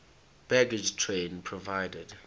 baggage train provided